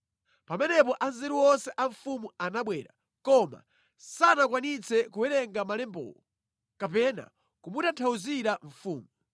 Pamenepo anzeru onse a mfumu anabwera, koma sanakwanitse kuwerenga malembawo kapena kumutanthauzira mfumu.